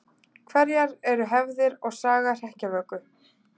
Hverjar eru hefðir og saga hrekkjavöku?